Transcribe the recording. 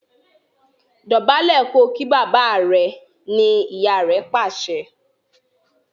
Dobale kò kí bàbá rẹ! ní ìyá rẹ pàṣẹ.